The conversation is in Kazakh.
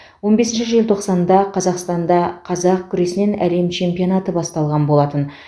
он бесінші желтоқсанда қазақстанда қазақ күресінен әлем чемпионаты басталған болатын